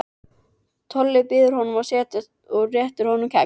Tolli býður honum að setjast og réttir honum kex.